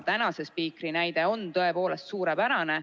Praeguse spiikri näide on tõepoolest suurepärane.